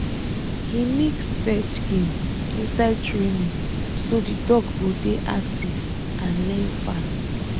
he mix fetch game inside training so the dog go dey active and learn fast